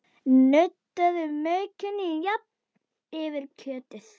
Nuddaðu maukinu jafnt yfir kjötið.